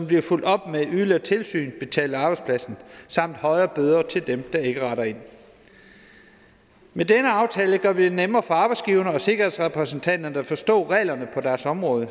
bliver fulgt op med yderligere tilsyn betalt af arbejdspladsen samt højere bøder til dem der ikke retter ind med denne aftale gør vi det nemmere for arbejdsgiverne og sikkerhedsrepræsentanterne at forstå reglerne på deres område og